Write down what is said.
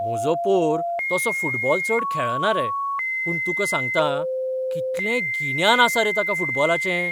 म्हजो पोर तसो फुटबॉल चड खेळना रे, पूण तुका सांगतां, कितलें गिन्यान आसा रे ताका फुटबॉलाचें!